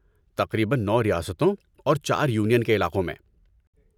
تقریباً نو ریاستوں اور چار یونین کے علاقوں میں